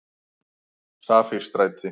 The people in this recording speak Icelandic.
Safírstræti